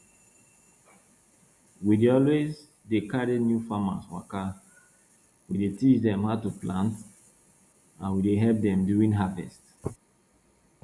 we dey always dey carry new farmers waka we dey teach dem how to plant and we dey help dem during harvest